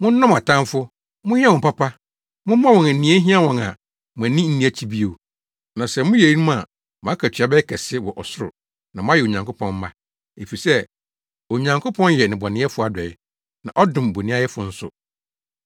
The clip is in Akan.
Monnɔ mo atamfo. Monyɛ wɔn papa. Momma wɔn nea ehia wɔn a, mo ani nni akyi bio. Na sɛ moyɛ eyinom a mo akatua bɛyɛ kɛse wɔ ɔsoro na moayɛ Onyankopɔn mma; efisɛ Onyankopɔn yɛ nnebɔneyɛfo adɔe, na ɔdom bonniayɛfo nso.